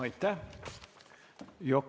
Aitäh!